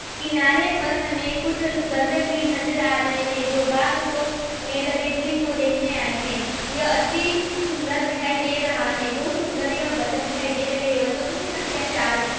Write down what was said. किनारे पर हमें कुछ दर्शक भी नज़र आ रहे हैं जो बाग़ को में लगे झील को देखने आये है । यह अति त सुन्दर दिखाई दे रहा है। बोहोत सुन्दर यह बतख दिखाई दे रही है बतखों की संख्या चार है।